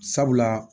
Sabula